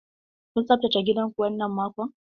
Kun tsaftace gidan ku wannan mako?